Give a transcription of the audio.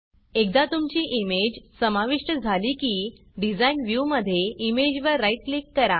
एकदा तुमची इमेज समाविष्ट झाली की Designडिज़ाइन व्ह्यूमधे इमेजवर राईट क्लिक करा